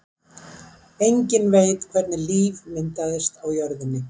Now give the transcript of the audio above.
Enginn veit hvernig líf myndaðist á jörðinni.